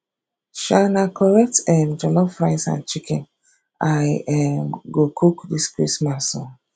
um na correct um jollof rice and chicken i um go cook dis christmas o